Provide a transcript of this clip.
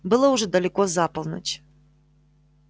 было уже далеко за полночь